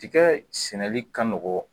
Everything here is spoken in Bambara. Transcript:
Tikɛ sɛnɛli ka nɔgɔ